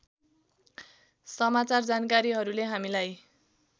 समाचार जानकारीहरूले हामीलाई